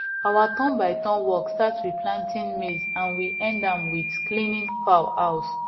our turnbyturn work start with planting maize and we end am with cleaning fowl house